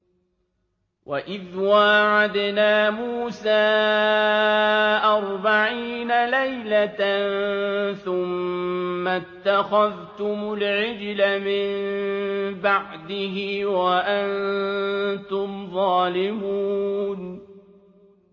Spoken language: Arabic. وَإِذْ وَاعَدْنَا مُوسَىٰ أَرْبَعِينَ لَيْلَةً ثُمَّ اتَّخَذْتُمُ الْعِجْلَ مِن بَعْدِهِ وَأَنتُمْ ظَالِمُونَ